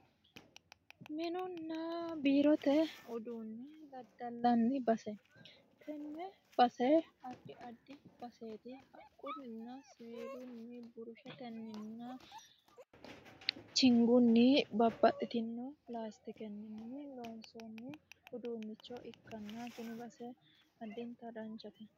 Minunna biirote uduune daddallanni base tene base addi addi baseti haqquninna siiwilunni burusheteninna chigunni babbaxitino lasitikenni loonsonni uduuncho ikkanna tini base additta danchate.